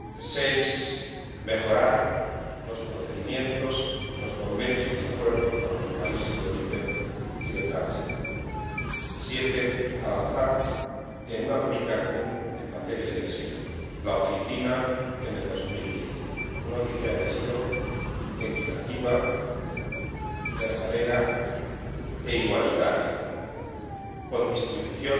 seis, mejorar los procedimientos, los convenios y los acuerdos con los países de origen y de tránsito siete, avanzar en una política común en materia de asilo. La Oficina en el 2010, una oficina de asilo equitativa, verdadera e igualitaria, con distribución